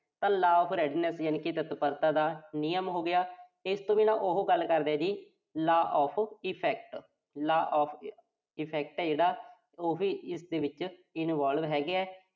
ਤਾਂ law of readiness ਯਾਨੀ ਕਿ ਤਤਪਰਤਾ ਦਾ ਨਿਯਮ ਹੋਗਿਆ। ਇਸ ਤੋਂ ਬਿਨਾਂ ਉਹ ਗੱਲ ਕਰਦਾ ਜੀ law of effect, law of effect ਜਿਹੜਾ ਉਹ ਵੀ ਇਸ ਦੇ ਵਿੱਚ involve ਹੈਗਾ